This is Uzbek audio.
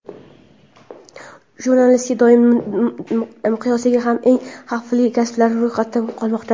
Jurnalistika dunyo miqyosida hamon eng xavfli kasblar ro‘yxatida qolmoqda.